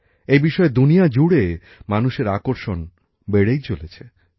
এই বিষয়ে দুনিয়াজুড়ে মানুষের আকর্ষণ বেড়েই চলেছে